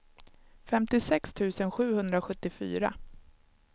femtiosex tusen sjuhundrasjuttiofyra